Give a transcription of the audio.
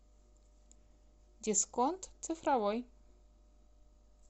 дисконт цифровой